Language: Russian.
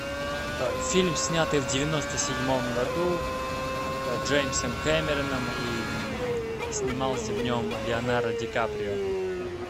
фильм снятый в девяносто седьмом году джеймсом кэмероном и снимался в нем леонардо ди каприо